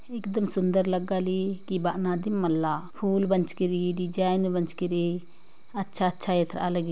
एकदम सुंदर लगा ली के बना दी मल्ला फुल बंच किरी डिज़ाइन बंच किरी अच्छा अच्छा --